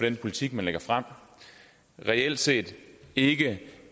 den politik han lægger frem og reelt set ikke